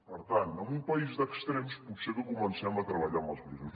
per tant en un país d’extrems potser que comencem a treballar amb els grisos